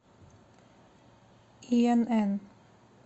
инн